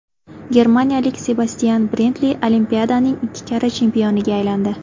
Germaniyalik Sebastyan Brendli Olimpiadaning ikki karra chempioniga aylandi.